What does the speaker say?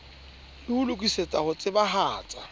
le ho lokisetsa ho tsebahatsa